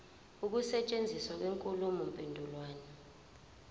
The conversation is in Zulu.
ukusetshenziswa kwenkulumo mpendulwano